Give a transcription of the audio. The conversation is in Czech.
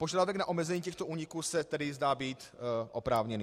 Požadavek na omezení těchto úniků se tedy zdá být oprávněný.